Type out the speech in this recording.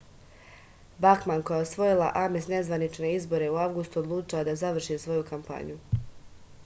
bakman koja je osvojila ames nezvanične izbore u avgustu odlučila je da završi svoju kampanju